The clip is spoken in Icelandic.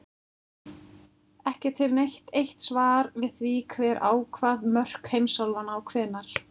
Ekki er til neitt eitt svar við því hver ákvað mörk heimsálfanna og hvenær.